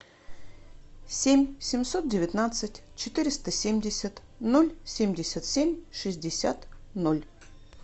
семь семьсот девятнадцать четыреста семьдесят ноль семьдесят семь шестьдесят ноль